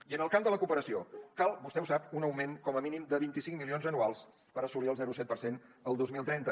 i en el camp de la cooperació cal vostè ho sap un augment com a mínim de vint cinc milions anuals per assolir el zero coma set per cent el dos mil trenta